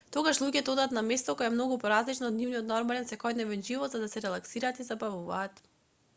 тогаш луѓето одат на место кое е многу поразлично од нивниот нормален секојдневен живот за да се релаксираат и забавуваат